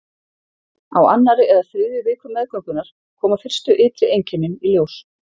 Á annarri eða þriðju viku meðgöngunnar koma fyrstu ytri einkennin í ljós.